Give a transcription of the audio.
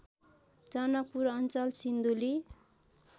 जनकपुर अञ्चल सिन्धुली